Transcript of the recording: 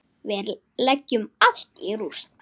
Við leggjum allt í rúst.